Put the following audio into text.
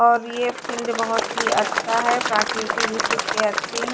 और ये फिल्ड बहोत ही अच्छा है प्रकृति दृश्य इसकी अच्छे है।